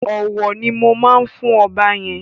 Ọ̀wọ̀ ni mo máa fún ọba yẹn.